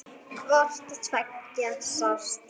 Hvort tveggja sást.